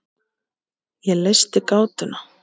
Ég leysti gátuna.